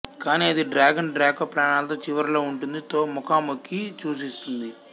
కానీ అది dragon Draco ప్రాణాలతో చివరిలో ఉంటుంది తో ముఖాముఖి సూచిస్తుంది